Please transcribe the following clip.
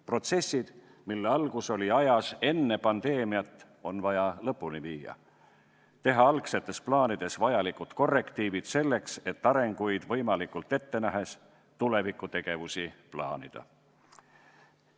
Protsessid, mille algus oli ajas enne pandeemiat, on vaja lõpule viia, teha algsetes plaanides vajalikud korrektiivid selleks, et arenguid võimalikult ette nähes tuleviku tegevusi plaanida.